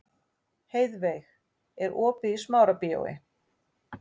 Heiðveig, er opið í Smárabíói?